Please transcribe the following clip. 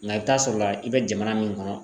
Nga i bi taa sɔrɔ la i be jamana min kɔnɔ